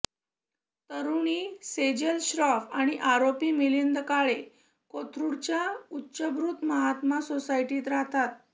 तरुणी सेजल श्रॉफ आणि आरोपी मिलिंद काळे कोथरुडच्या उच्चभ्रू महात्मा सोसायटीत राहतात